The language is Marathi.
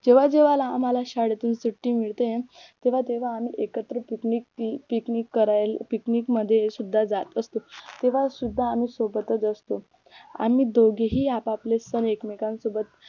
जेव्हा जेव्हाला आम्हाला शाळेतून सुट्टी मिळते तेव्हा तेव्हा आम्ही एकत्र पिकनिक पिकनिक करायला पिकनिक मध्ये सुद्धा जात असतो तेव्हा सुद्धा आम्ही सोबतच असतो आम्ही दोघेही आप आपले सण एकमेकांसोबत